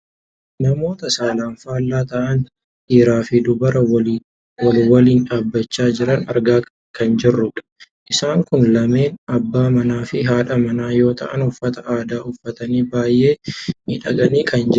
Namoota saalaan faallaa ta'an dhiiraa fi dubara wal waliin dhaabbachaa jiran argaa kan jirrudha. Isaan kun lameen abbaa manaafi haadha manaa yoo ta'an uffata aadaa uffatanii baayyee miidhaganii kan jiranidha.